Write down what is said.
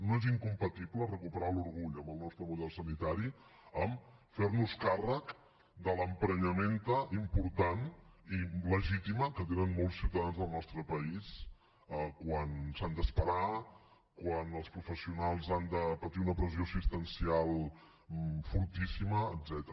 no és incompatible recuperar l’orgull pel nostre model sanitari amb fer nos càrrec de l’ emprenyamenta important i legítima que tenen molts ciutadans del nostre país quan s’han d’esperar quan els professionals han de patir una pressió assistencial fortíssima etcètera